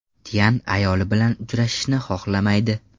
Tyan ayoli bilan uchrashishni xohlamaydi.